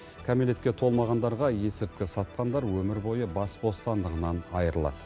кәмелетке толмағандарға есірткі сатқандар өмір бойы бас бостандығынан айырылады